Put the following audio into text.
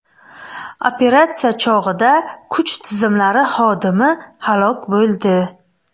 Operatsiya chog‘ida kuch tizimlari hodimi halok bo‘ldi.